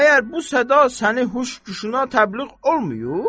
Məyər bu səda səni huş güşünə təbliğ olmuyub?